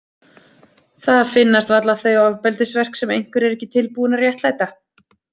Það finnast varla þau ofbeldisverk sem einhver er ekki tilbúinn að réttlæta.